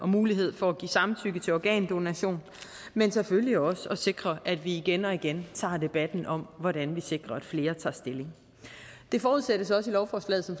mulighed for at give samtykke til organdonation men selvfølgelig også at sikre at vi igen og igen tager debatten om hvordan vi sikrer at flere tager stilling det forudsættes også i lovforslaget som